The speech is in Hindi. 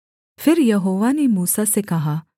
फिर यहोवा ने मूसा से कहा